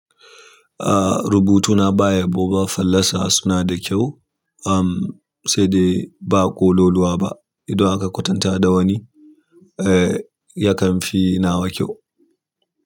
Ah rubutuna ba yabo ba fallasa suna da kyau, um sai dai ba ƙololuwa ba. Idan aka kwatanta da wani, eh yakan fi na wa kyau.